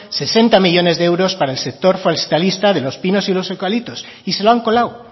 sesenta millónes de euros para el sector forestalista de los pinos y los eucaliptos y se lo han colado